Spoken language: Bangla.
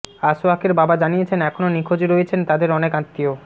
আসওয়াকের বাবা জানিয়েছেন এখনো নিখোঁজ রয়েছেন তাদের অনেক আত্মীয়